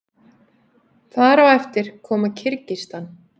þar á eftir koma kirgisistan